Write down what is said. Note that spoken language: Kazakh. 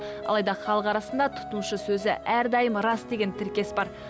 алайда халық арасында тұтынушы сөзі әрдайым рас деген тіркес бар